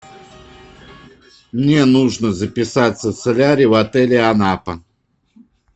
мне нужно записаться в солярий в отеле анапа